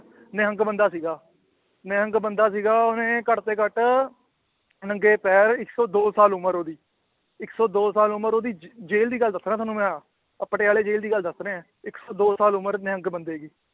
ਨਿਹੰਗ ਬੰਦਾ ਸੀਗਾ ਨਿਹੰਗ ਬੰਦਾ ਸੀਗਾ ਉਹਨੇ ਘੱਟ ਤੋਂ ਘੱਟ ਨੰਗੇ ਪੈਰ ਇੱਕ ਸੌ ਦੋ ਸਾਲ ਉਮਰ ਉਹਦੀ ਇੱਕ ਸੌ ਦੋ ਸਾਲ ਉਮਰ ਉਹਦੀ ਜ~ ਜੇਲ੍ਹ ਦੀ ਗੱਲ ਦੱਸ ਰਿਹਾਂ ਤੁਹਾਨੂੰ ਮੈਂ ਆਹ, ਆਹ ਪਟਿਆਲੇ ਜੇਲ੍ਹ ਦੀ ਗੱਲ ਦੱਸ ਰਿਹਾਂ ਇੱਕ ਸੌ ਦੋ ਸਾਲ ਉਮਰ ਨਿਹੰਗ ਬੰਦੇ ਦੀ